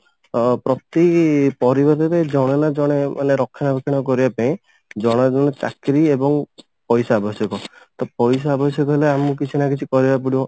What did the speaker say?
ଅ ପ୍ରତି ପରିବାରରେ ଜଣେ ନା ଜଣେ ମାନେ ରକ୍ଷଣା ବେକ୍ଷଣା କରିବା ପାଇଁ ଜଣେ ଜଣେ ଚାକିରି ଏବଂ ପଇସା ଆବଶ୍ୟକ ତ ପଇସା ଆବଶ୍ୟକ ହେଲେ ଆମକୁ କିଛି ନା କିଛି କରିବାକୁ ପଡିବ